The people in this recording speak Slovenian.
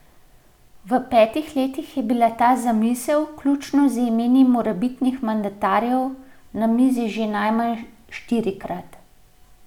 V petih letih je bila ta zamisel, vključno z imeni morebitnih mandatarjev, na mizi že najmanj štirikrat.